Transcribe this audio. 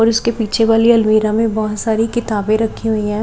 और उसके पीछे वाली अलमीरा में बहोत सारी किताबें रखी हुई है।